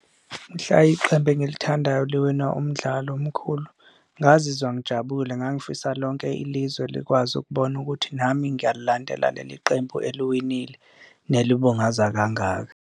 Mhla iqembu engilithandayo liwina umdlalo omkhulu ngazizwa ngijabule, ngangifisa lonke ilizwe likwazi ukubona ukuthi nami ngiyalandela leli qembu eliwinile nelibungaza kangaka.